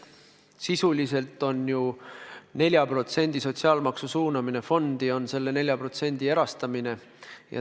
Sisuliselt on ju 4% sotsiaalmaksu suunamine fondi selle 4% erastamine.